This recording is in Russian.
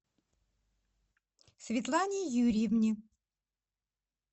светлане юрьевне